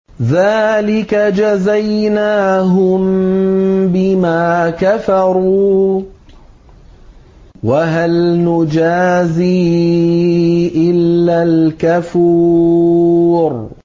ذَٰلِكَ جَزَيْنَاهُم بِمَا كَفَرُوا ۖ وَهَلْ نُجَازِي إِلَّا الْكَفُورَ